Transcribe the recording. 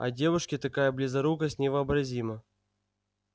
а девушке такая близорукость невообразима